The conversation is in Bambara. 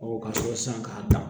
ka sɔrɔ sisan k'a dan